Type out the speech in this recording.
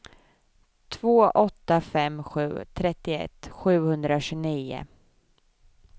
två åtta fem sju trettioett sjuhundratjugonio